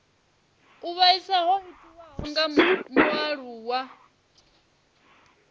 u vhaisa ho itiwaho kha mualuwa